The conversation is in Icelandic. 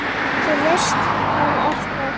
Þú veist, hvað er það?